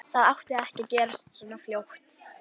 Það átti ekki að gerast svona fljótt.